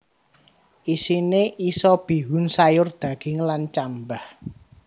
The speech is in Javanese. Isine isa bihun sayur daging lan cambah